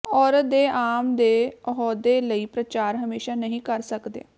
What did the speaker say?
ਔਰਤ ਦੇ ਆਮ ਦੇ ਅਹੁਦੇ ਲਈ ਪ੍ਰਚਾਰ ਹਮੇਸ਼ਾ ਨਹੀ ਕਰ ਸਕਦੇ